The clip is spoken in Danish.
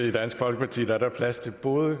i dansk folkeparti er der plads til både